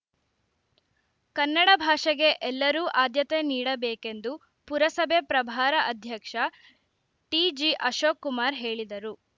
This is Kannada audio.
ಕನ್ನಡ ಭಾಷೆಗೆ ಎಲರೂ ಆದ್ಯತೆ ನೀಡಬೇಕೆಂದು ಪುರಸಭೆ ಪ್ರಭಾರ ಅಧ್ಯಕ್ಷ ಟಿಜಿಅಶೋಕ್‌ ಕುಮಾರ್‌ ಹೇಳಿದರು